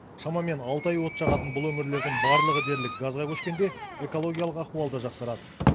шамамен алты ай от жағатын бұл өңірлердің барлығы дерлік газға көшкенде экологиялық ахуал да жақсарады